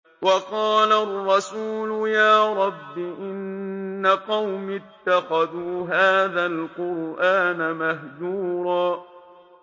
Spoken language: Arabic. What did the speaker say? وَقَالَ الرَّسُولُ يَا رَبِّ إِنَّ قَوْمِي اتَّخَذُوا هَٰذَا الْقُرْآنَ مَهْجُورًا